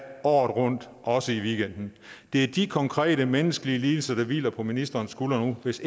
året rundt også i weekenden det er de konkrete menneskelige lidelser der nu hviler på ministerens skuldre hvis